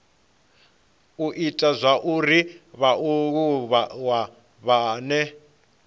u ita zwauri vhaaluwa vhane